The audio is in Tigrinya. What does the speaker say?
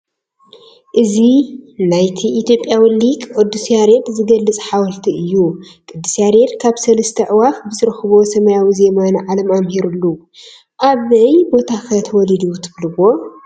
እዚ ናይቲ ኢ/ዊ ሊቅ ቅዱስ ያሬድ ዝገልፅ ሓወልቲ እዩ፡፡ ቅ/ ያሬድ ካብ 3+ ኣዕዋፍ ብዝረኸቦ ሰማያዊ ዜማ ንዓለም ኣምሂሩሉ፡፡ ኣበይ ቦታ ኸ ተወሊዱ ትብልዎ?